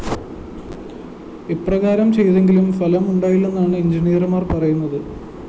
ഇപ്രകാരം ചെയ്‌തെങ്കിലും ഫലമുണ്ടായില്ലെന്നാണ് എന്‍ജിനീയര്‍മാര്‍ പറയുന്നത്